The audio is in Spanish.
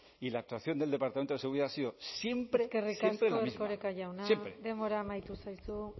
y la actuación del departamento de seguridad ha sido siempre siempre la misma eskerrik asko erkoreka jauna denbora amaitu zaizu